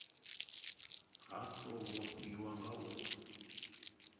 ha tou vhofhiwa nga u